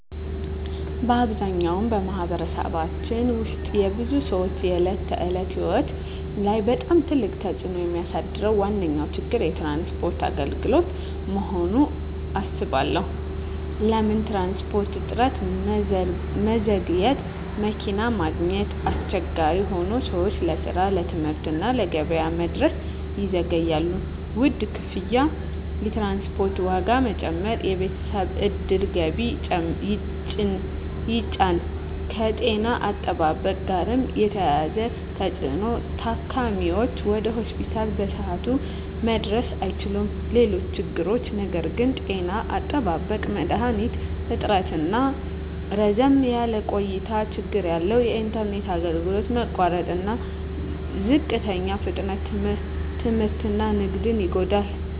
በአብዛኛው በማኅበረሰባችን ውስጥ የብዙ ሰዎች የዕለት ተዕለት ሕይወት ላይ በጣም ትልቅ ተፅዕኖ የሚያሳድረው ዋነኛ ችግር የትራንስፖርት አገልግሎት መሆኑን እባላለሁ። ለምን ትራንስፖርት? እጥረትና መዘግየት መኪና ማግኘት አስቸጋሪ ሆኖ ሰዎች ለስራ፣ ለትምህርት እና ለገበያ መድረስ ይዘገያሉ። ውድ ክፍያ የትራንስፖርት ዋጋ መጨመር የቤተሰብ ዕድል ገቢን ይጫን። ከጤና አጠባበቅ ጋር የተያያዘ ተፅዕኖ ታካሚዎች ወደ ሆስፒታል በሰዓቱ መድረስ አይችሉም። ሌሎች ችግሮች ነገር ግን… ጤና አጠባበቅ መድሀኒት እጥረትና ረዘም ያለ ቆይታ ችግር አለ። የኢንተርኔት አገልግሎት መቋረጥና ዝቅተኛ ፍጥነት ትምህርትና ንግድን ይጎዳል።